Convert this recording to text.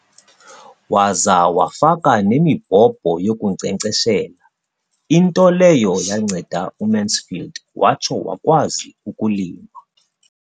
Waza wafaka nemibhobho yokunkcenkceshela, into leyo yanceda uMansfield watsho wakwazi ukulima.